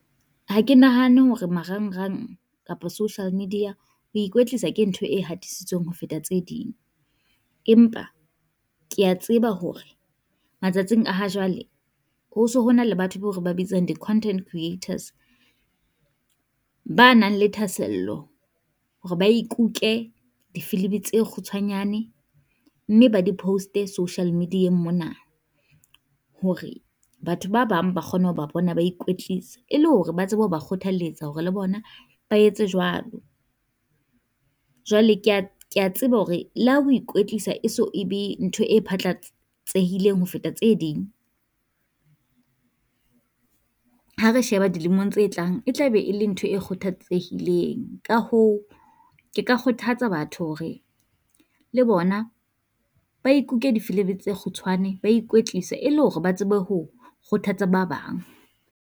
Ha ke nahane hore marangrang kapo social media ho ikwetlisa ke ntho e hatisitsweng ho feta tse ding, empa kea tseba hore matsatsing a ha jwale ho so ho na le batho bao re ba bitsang di content creators. Ba nang le thasello hore ba ikuke difilimi tse kgutshwanyane, mme ba di post-e social media-eng mona, hore batho ba bang ba kgone ho ba bona ba ikwetlisa. E le hore ba tsebe ho ba kgothalletsa hore le bona ba etse jwalo, jwale kea kea tseba hore le ha o ikwetlisa e so e be ntho e tsehileng ho feta tse ding. Ha re sheba dilemong tse tlang, e tlabe e le ntho e kgothatsehileng, ka hoo ke ka kgothatsa batho hore le bona ba ikuke difilimi tse kgutshwane, ba ikwetlisa e le hore ba tsebe ho kgothatsa ba bang.